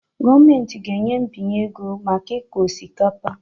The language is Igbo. Gọọmenti ga-enye mbinye ego maka ịkụ osikapa